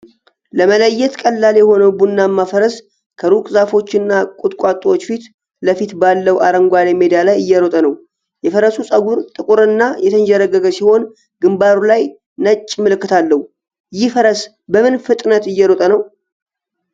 ለመለየት ቀላል የሆነው ቡናማ ፈረስ ከሩቅ ዛፎችና ቁጥቋጦዎች ፊት ለፊት ባለው አረንጓዴ ሜዳ ላይ እየሮጠ ነው። የፈረሱ ፀጉር ጥቁርና የተንዠረገገ ሲሆን፣ ግንባሩ ላይ ነጭ ምልክት አለው፤ ይህ ፈረስ በምን ፍጥነት እየሮጠ ነው?